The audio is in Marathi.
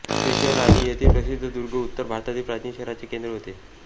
हे शहर आणि येथील प्रसिद्ध दुर्ग उत्तर भारतील प्राचीन शहरांचे केन्द्र होते